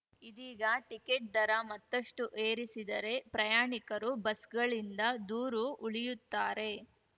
ಇದೀಗ ಟಿಕೆಟ್‌ ದರ ಮತ್ತಷ್ಟುಏರಿಸಿದರೆ ಪ್ರಯಾಣಿಕರು ಬಸ್‌ಗಳಿಂದ ದೂರು ಉಳಿಯುತ್ತಾರೆ